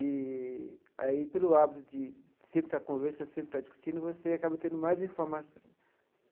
E aí, pelo hábito de sempre estar conversando, sempre estar discutindo, você acaba tendo mais informação.